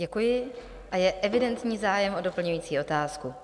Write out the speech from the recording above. Děkuji a je evidentní zájem o doplňující otázku.